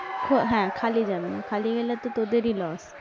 হ্যাঁ, খালি যাবে না, খালি গেলে তো তোদেরই loss